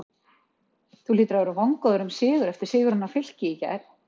Þú hlýtur að vera vongóður um sigur eftir sigurinn á Fylki í gær?